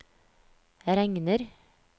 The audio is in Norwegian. regner